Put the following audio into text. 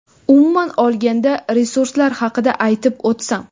umuman olganda resurslar haqida aytib o‘tsam.